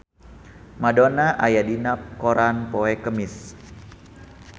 Madonna aya dina koran poe Kemis